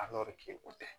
o tɛ